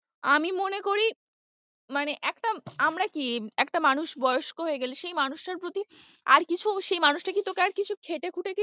আমি মনে করি মানে একটা আমরা কি একটা মানুষ বয়স্ক হয়ে গেলে সেই মানুষটার প্রতি আর কিছু সেই মানুষটা কি তোকে আর কিছু খেটেখুটে কি,